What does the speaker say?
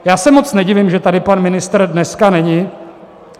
Já se moc nedivím, že tady pan ministr dneska není.